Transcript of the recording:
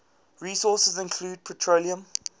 resources include petroleum